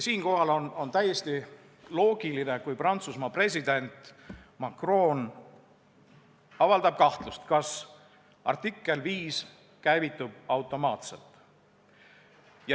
Siinkohal on täiesti loogiline, kui Prantsusmaa president Macron avaldab kahtlust, kas artikkel 5 käivitub automaatselt.